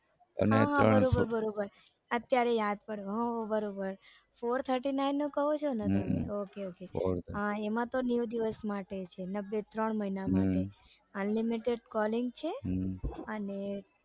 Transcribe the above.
અને હા બરાબર બરાબર અત્યારે યાદ પડ્યું હા બરાબર ફોર થર્ટી નાઈન નું કો છોને તમે એમાં તો નેવું દિવસ માટે છે ત્રણ મહિના માટે unlimited calling છે અને